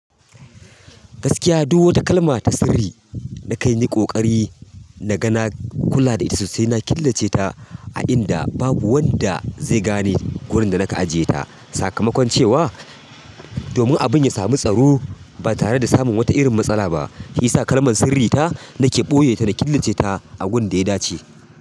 Gaskiya, duk wata kalma ta sirri na kanyi ƙoƙari na ga na kula da ita sosai. Na killace ta a inda babu wanda zai gane wurin da na ka ajiye ta. Sakamakon cewa domin abun ya sami tsaro ba tare da samun wata irin matsala ba, shi ya sa kalman sirri ta na ke ɓoye ta na killace ta a wurin da ya dace.